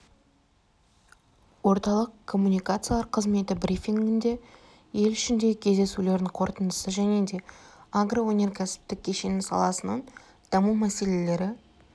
орталық коммуникациялар қызметі брифингінде ел ішіндегі кездесулердің қорытындысын және де агроөнеркәсіптік кешені саласының даму мәселелері